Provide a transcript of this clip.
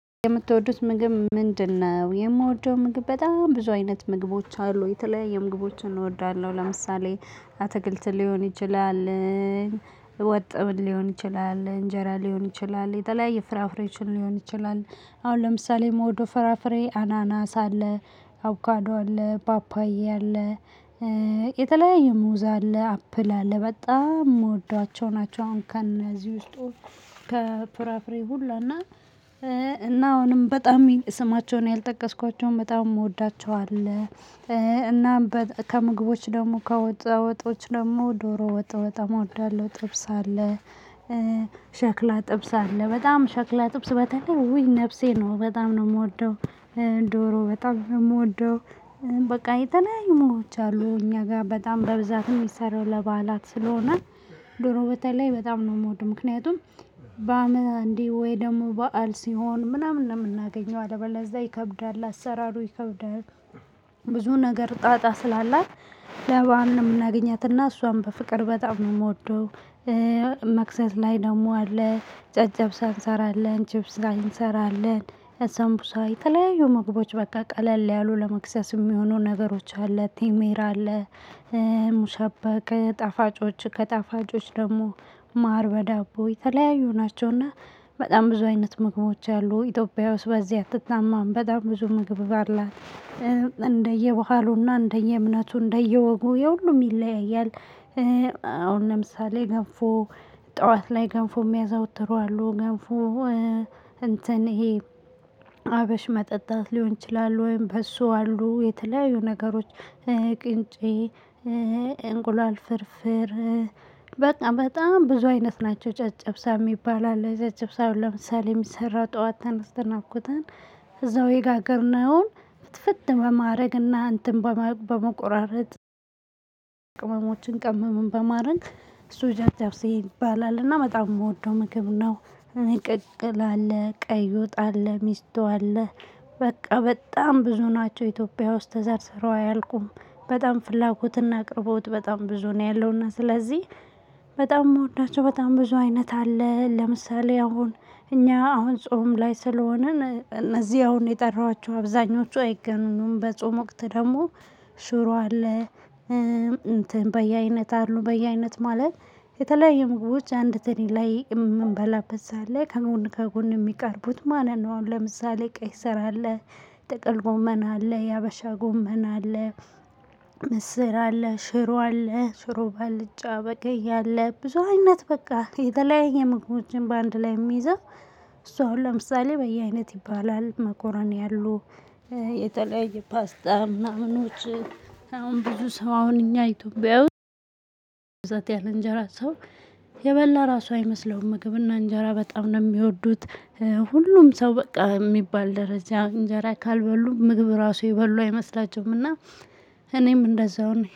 የምትወዱት ምግብ ምንድነው? የምወደው ምግብ በጣም ብዙ አይነት ምግቦች አሉ የተለያየ ምግቦችን እወዳለሁ ለምሳሌ አትክልት ሊሆን ይችላል። ወጥም ሊሆን ይችላል እንጀራ ሊሆን ይችላል የተለያየ ፍራፍሬዎችን ሊሆን ይችላል። አሁን ለምሳሌ የምውደው ፍራፍሬ አናናስ አለ አቮካዶ አለ ፓፓያ አለ። የተለያየ ሙዛ አለ አፕል አለ በጣም የምወዷቸው ናቸው። አሁን ከእዚህ ውስጥ ከፍራፍሬ ሁላና እና አሁንም በጣም ስማቸውን ያልጠቀስኳቸውን በጣም የምወዳቸው አለ። እናም ከምግቦች ደግሞ ከወጣ ወጦዎች ደግሞ ዶሮ ወጥ በጣም እወዳለሁ ጥብስ አለ። ሸክላ ጥብስ አለ በጣም ሸክላ ጥብስ በተለይ ውይ ነፍሴ ነው በጣም ነው የምወደው። ዶሮ በጣም የምወደው በቃ የተለያዩ ምግቦች አሉ እኛ ጋር በጣም በብዛት የሚሰራው ለባዓላት ስለሆነ። ዶሮ በተለይ በጣም ነው የምወደው። ምክንያቱም በአመት አንዴ ወይ ደግሞ በዓል ሲሆን ምናምን ነው የምናገኘው አደባባይ ለዛ ይከብዳል አሰራሩ ይከብዳል። ብዙ ነገር ጣጣ ስላላት ለበአል ነው የምናገኛት እና እሷም በፍቅር በጣም ነው የምወደው። መክሰስ ላይ ደግሞ አለ ጨጨብሳ እንሰራለን ችብስ ላይ እንሰራለን። ሰንቡሳ ተለያዩ ምግቦች በቃ ቀለል ያሉ ለመክሰስ የሚሆነው ነገሮች አለ ቲሜራ አለ። ሙሻበከ ጣፋጮች ከጣፋጮች ደግሞ ማር በዳቦ የተለያዩ ናቸውና። በጣም ብዙ አይነት ምግቦች አሉ ኢትዮጵያ ውስጥ በዚህ አትታማም በጣም ብዙ ምግብ አላት። እንደየባህሉ እና እንደየእምነቱ እንደየወጉ የሁሉም ይለያያል። አሁን ለምሳሌ ገንፎ ጠዋት ላይ ገንፎ የሚያዘወትሩ አሉ ገንፎ። እንትን ይሄ ሀበሽ መጠጣት ሊሆን ይችላል ወይም በሱ አሉ የተለያዩ ነገሮች። ቅንጬ እንቁላል ፍርፍር። በቃ በጣም ብዙ አይነት ናቸው ጨጭብሳ የሚባል አለ ጨጭብሳውን ለምሳሌ የሚሰራው ጠዋት ተነስተን አቡክተን እዛው የጋገርነውን ፍትፍት በማድረግና እንትን በመቆራረጥ ቅመምም በማረግ እሱ ጨጨብሴ ይባላልና በጣም የምወደው ምግብ ነው። ቅቅል አለ ቀይ ወጥ አለ ሚስቶ አለ በቃ በጣም ብዙ ናቸው ኢትዮጵያ ውስጥ ተዘርዝሮ አያልቁም። በጣም ፍላጎትና አቅርቦት በጣም ብዙ ነው ያለውና ስለዚህ። በጣም መውዳቸው በጣም ብዙ አይነት አለ ለምሳሌ አሁን እኛ አሁን ጾም ላይ ስለሆነ እነዚህ አሁን የጠራኋቸው አብዛኞቹ አይገኙም በጾም ወቅት ደግሞ። ሽሮ አለ። እንትን በየአይነት አሉ በየአይነት ማለት የተለያየ ምግቦች አንድ ትሪ ላይ የምንበላበት ሰዓት ላይ ከጎን ከጎን የሚቀርቡት ማለት ነው። አሁን ለምሳሌ ቀይ ስር አለ ጥቅል ጎመና አለ የሀበሻ ጎመን አለ። ምስር አለ ሽሮ አለ ሽሮ ባልጫ በቀይ አለ ብዙ አይነት በቃ የተለያየ መግቢያዎችን በአንድ ላይ የሚይዘው። እሷ አሁን ለምሳሌ በየአይነት ይባላል መኮረኒ አሉ። የተለያየ ፓስታ ምናምኖች አሁን ብዙ ሰው አሁን እኛ ኢትዮጵያዊ ያለ እንጀራ ሰው የበላ ራሱ አይመስለውም ምግብና እንጀራ በጣም ነው የሚወዱት። ሁሉም ሰው በቃ የሚባል ደረጃ እንጀራ ካልበሉ ምግብ ራሱ የበሉ አይመስላቸውምና። እኔም እንደዛው ነኝ